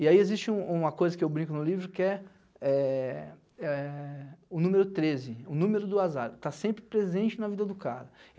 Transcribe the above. E aí existe um uma coisa que eu brinco no livro que é é é o número treze, o número do azar, tá sempre presente na vida do cara.